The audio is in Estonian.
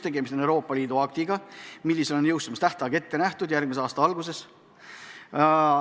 Tegemist on Euroopa Liidu aktiga, mille jõustumise tähtaeg on järgmise aasta algus.